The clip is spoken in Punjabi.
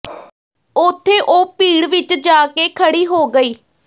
ਉੱਥੇ ਉਹ ਭੀੜ ਵਿੱਚ ਜਾ ਕੇ ਖੜ੍ਹੀ ਹੋ ਗਈ